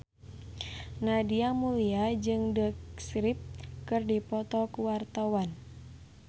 Nadia Mulya jeung The Script keur dipoto ku wartawan